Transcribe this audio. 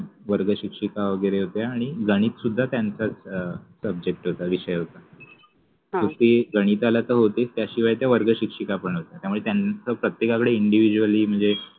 वर्ग शिक्षिका वगेरे होत्या आणि गणित सुद्धा त्यांचा अ सब्जेक्ट विषय होता. ते गणितालाच तर होतेच त्याशिवाय त्या वर्ग शिक्षिका पन होत्या त्याच्यामुळे त्यांच प्रत्येकाकडे individually मनजे